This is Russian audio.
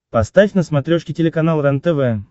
поставь на смотрешке телеканал рентв